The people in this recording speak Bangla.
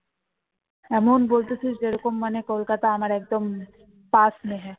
এমন বলছিস যেন মানে কলকাতা আমার একদম